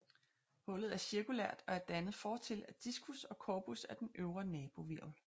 Hullet er cirkulært og er dannet fortil af diskus og corpus af den øvre nabohvirvel